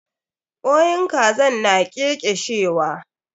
Kwain kazan na ƙeƙeshewa.